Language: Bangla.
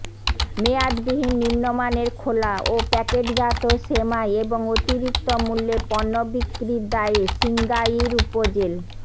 মেয়াদবিহীন নিম্নমানের খোলা ও প্যাকেটজাত সেমাই এবং অতিরিক্ত মূল্যে পণ্য বিক্রির দায়ে সিংগাইর উপজেল